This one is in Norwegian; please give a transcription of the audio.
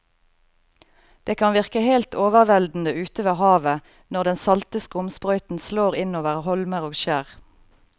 Det kan virke helt overveldende ute ved havet når den salte skumsprøyten slår innover holmer og skjær.